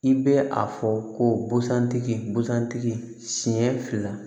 I bɛ a fɔ ko busan tigi busan tigi siɲɛ fila